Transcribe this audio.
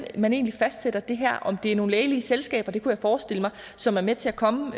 man egentlig fastsætter det her om det er nogle lægelige selskaber det kunne jeg forestille mig som er med til at komme